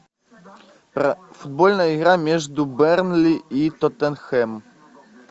футбольная игра между бернли и тоттенхэм